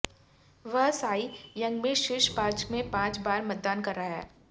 वह Cy Young में शीर्ष पांच में पांच बार मतदान कर रहा है